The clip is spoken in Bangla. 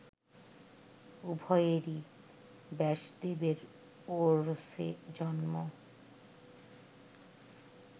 উভয়েরই ব্যাসদেবের ঔরসে জন্ম